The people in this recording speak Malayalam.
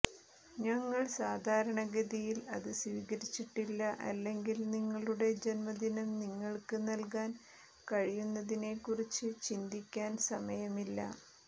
ഞങ്ങൾ സാധാരണഗതിയിൽ അത് സ്വീകരിച്ചിട്ടില്ല അല്ലെങ്കിൽ നിങ്ങളുടെ ജന്മദിനം നിങ്ങൾക്ക് നൽകാൻ കഴിയുന്നതിനെക്കുറിച്ച് ചിന്തിക്കാൻ സമയമില്ല